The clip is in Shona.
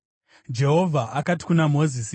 Jehovha akati kuna Mozisi,